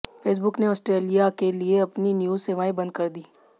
Facebook ने Australia के लिए अपनी न्यूज सेवाएं बंद कीं